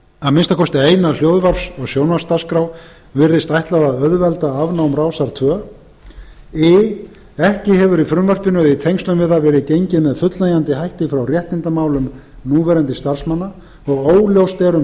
að minnsta kosti eina hljóðvarps og sjónvarpsdagskrá virðist ætlað að auðvelda afnám rásar tvö i ekki hefur í frumvarpinu eða í tengslum við það verið gengið með fullnægjandi hætti frá réttindamálum núverandi starfsmanna og óljóst er um